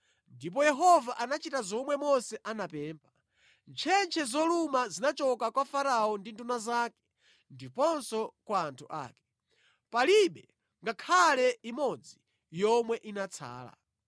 Ndipo Yehova anachita zomwe Mose anapempha: Ntchentche zoluma zinachoka kwa Farao ndi nduna zake ndiponso kwa anthu ake. Palibe ngakhale imodzi yomwe inatsala.